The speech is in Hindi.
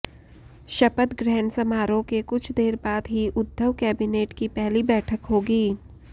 शपथ ग्रहण समारोह के कुछ देर बाद ही उद्धव कैबिनेट की पहली बैठक होगी